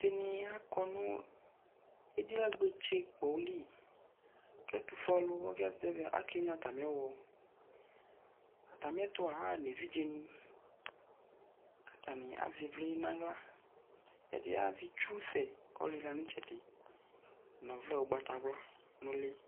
aluɛɖini akɔ nʋ ediɣagbotse' kpɔli ke ɛtʋfuelʋ ake wɣlo atami yetAtamitʋa, aɣa nʋ evidze' ni, katani azɛ ivli nʋ aɣla, ɛɖi azɛ itsusɛ k'ɔlila nʋ itsɛɖi, n'ɔvlɛ ugbatawla nʋ li